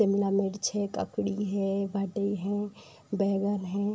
शिमला मिर्च है ककड़ी है बैगन हैं |